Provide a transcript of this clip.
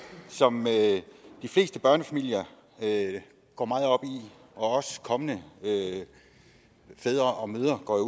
som de fleste børnefamilier og også kommende fædre og mødre går